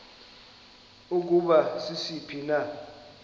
ukuba sisiphi na